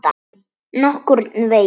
Nokkurn veginn.